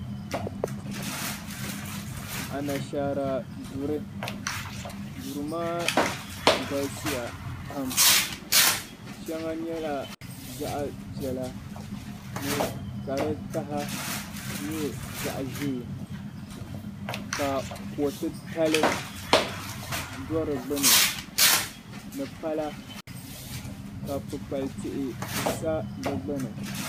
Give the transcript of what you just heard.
Anashaara duri duri maa galisiya pam shɛŋa nyɛla zaɣ'piɛla ka di taha nyɛ zaɣ'ʒee ka ko'titali do di gbuni ni pala ka kpukpali tihi sa di gbuni.